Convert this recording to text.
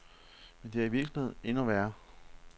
Men det er i virkeligheden endnu værre.